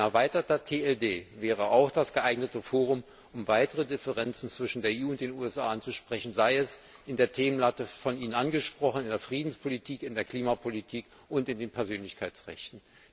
Ein erweiterter TLD wäre auch das geeignete Forum, um weitere Differenzen zwischen der EU und den USA anzusprechen, sei es in der Themenlatte von Ihnen angesprochen in der Friedenspolitik, in der Klimapolitik oder in den Persönlichkeitsrechten.